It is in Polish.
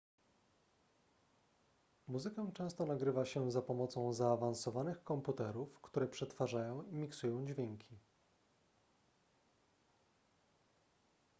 muzykę często nagrywa się za pomocą zaawansowanych komputerów które przetwarzają i miksują dźwięki